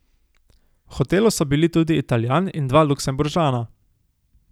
V hotelu so bili tudi Italijan in dva Luksemburžana.